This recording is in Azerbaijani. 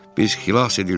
Biz xilas edildik.